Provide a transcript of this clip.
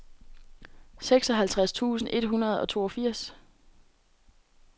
seksoghalvtreds tusind et hundrede og toogfirs